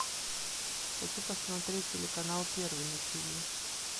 хочу посмотреть телеканал первый на тв